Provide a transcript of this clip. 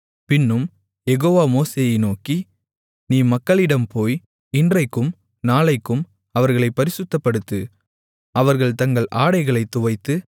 பின்னும் யெகோவா மோசேயை நோக்கி நீ மக்களிடம் போய் இன்றைக்கும் நாளைக்கும் அவர்களைப் பரிசுத்தப்படுத்து அவர்கள் தங்கள் ஆடைகளைத் துவைத்து